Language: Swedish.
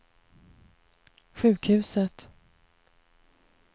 sjukhuset